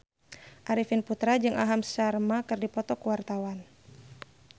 Arifin Putra jeung Aham Sharma keur dipoto ku wartawan